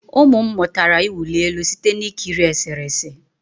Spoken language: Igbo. Ụmụ m mụtara ịwụli elu site na ikiri eserese